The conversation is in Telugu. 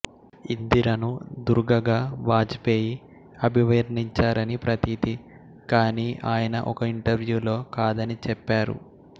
ఇందిరను దుర్గగా వాజపేయి అభివర్ణించారని ప్రతీతి కానీ ఆయన ఒక ఇంటర్వ్యూలో కాదని చెప్పారు